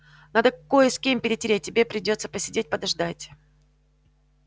надо кое с кем перетереть тебе придётся посидеть подождать